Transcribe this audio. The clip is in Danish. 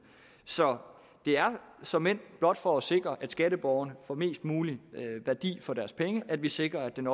så det er såmænd blot for at sikre at skatteborgerne får mest mulig værdi for deres penge at vi sikrer at den